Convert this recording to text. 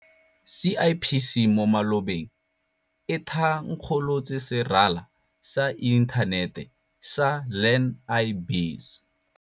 CIPC mo malobeng e tha nkgolotse serala sa inthanete sa Learn-i-Biz.